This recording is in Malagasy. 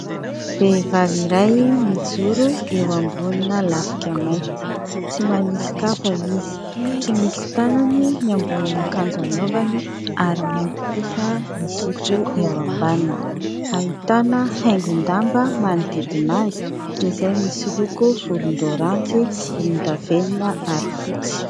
Vehivavy iray mijoro eo ambonina lafika mainty, tsy manisy kapa izy ,tsy misy tanany ny ambonin'akanjo anaovany ary mainty kosa ny zipo eo ambaniny. Ahitana haingom-damba manodidina azy izay misy loko volondoranjy, volondavenona ary fotsy.